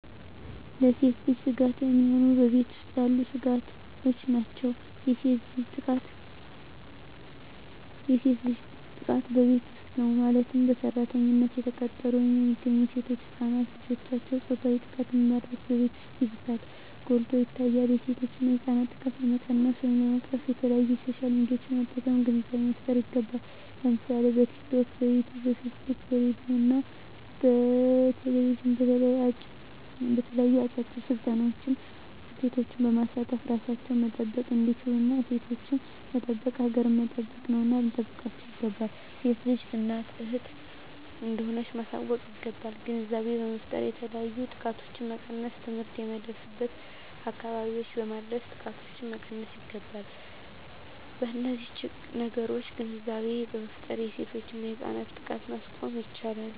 ለሴት ልጅ ስጋት የሚሆኑ በቤት ውስጥ ያሉ ስጋቶች ናቸው። የሴት ልጅ ጥቃት በቤት ውስጥ ነው ማለትም በሰራተኝነት የተቀጠሩ ወይም የሚገቡ ሴቶች እና ህፃናት ልጆችን ፆታዊ ጥቃትን በማድረስ በቤት ውስጥ ይባስ ጎልቶ ይታያል የሴቶችና ህፃናት ጥቃት ለመቀነስ ወይም ለመቅረፍ በተለያዪ በሶሻል ሚዲያዎችን በመጠቀም ግንዛቤ መፍጠር ይገባል ለምሳሌ በቲክቶክ, በዩቲቪ , በፌስቡክ በሬድዬ እና በቴሌቪዥን በተለያዩ አጫጭር ስልጠናዎች ሴቶችን በማሳተፍ እራሳቸውን መጠበቅ እንዲችሉና ሴቶችን መጠበቅ ሀገርን መጠበቅ ነውና ልንጠብቃቸው ይገባል። ሴት ልጅ እናት እህት እንደሆነች ማሳወቅ ይገባል። ግንዛቤ በመፍጠር የተለያዩ ጥቃቶችን መቀነስ ትምህርት የማይደርስበትን አካባቢዎች በማድረስ ጥቃቶችን መቀነስ ይገባል። በነዚህ ነገሮች ግንዛቤ በመፍጠር የሴቶችና የህፃናት ጥቃትን ማስቆም ይቻላል።